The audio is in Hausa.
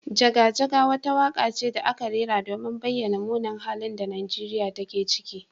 Jaga jaga wata waka ce da aka rera domin bayyana munin halin da Nigeriya take ciki.